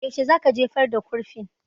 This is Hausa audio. Yaushe za ka jefar da kurfin?